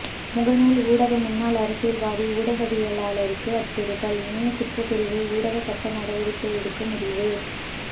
முகநூல் ஊடாக முன்னாள் அரசியல்வாதி ஊடகவியலாளருக்கு அச்சுறுத்தல் இணைய குற்றப்பிரிவு ஊடாக சட்ட நடவடிக்கை எடுக்க முடிவு